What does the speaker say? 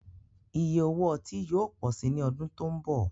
Ìyẹ̀ òwò ọ̀tí yóò pọ̀ sí ní ọ̀dún tó nbọ̀